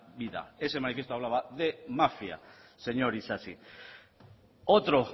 vida ese manifiesto hablaba de mafia señor isasi otro